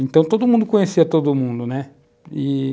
Então, todo mundo conhecia todo mundo, né? e,